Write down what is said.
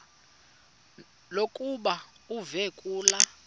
lokuba uve kulaa